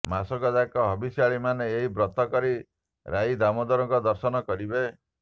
ମାସକ ଯାକ ହବିଷ୍ୟାଳି ମାନେ ଏହି ବ୍ରତ କରି ରାଇ ଦମୋଦରଙ୍କ ଦର୍ଶନ କରିବେ